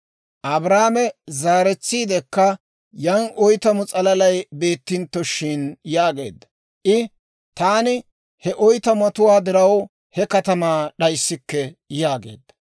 Abrahaame zaaretsiidekka, «Yan oytamu s'alalay beettintto shin?» yaageedda. I, «Taani he oytamatuwaa diraw, he katamaa d'ayisikke» yaageedda.